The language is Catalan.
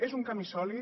és un camí sòlid